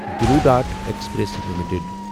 blue dart express limited